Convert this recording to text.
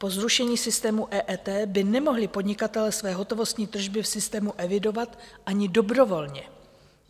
Po zrušení systému EET by nemohli podnikatelé své hotovostní tržby v systému evidovat ani dobrovolně.